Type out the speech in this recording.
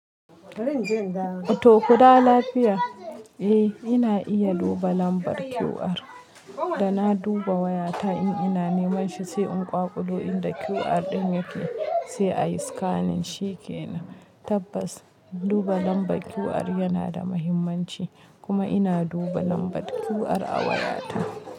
To kuɗawo lafiya. Eh ina iya duba lambar QR, da na duba wayata in ina niman shi sai in kwakulo inda QR ɗin yake sai a yi scanning shi ke nan. Tabbas duba lambar QR yana da mahimmanci kuma ina duba lambar QR a wayata.